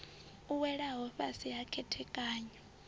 u welaho fhasi ha khethekanyo